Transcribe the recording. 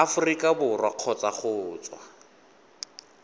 aforika borwa kgotsa go tswa